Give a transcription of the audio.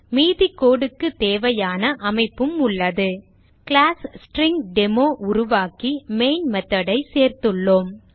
மீதி code க்கு தேவையான அமைப்பும் உள்ளது கிளாஸ் ஸ்ட்ரிங்டெமோ உருவாக்கி மெயின் method ஐ சேர்த்துள்ளோம்